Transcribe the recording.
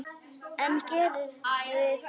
En geri það nú.